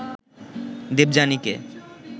দেবযানীকে